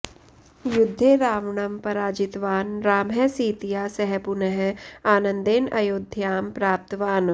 युद्धे रावणं पराजितवान् रामः सीतया सह पुनः आनन्देन अयोध्यां प्राप्तवान्